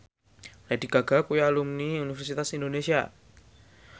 Lady Gaga kuwi alumni Universitas Indonesia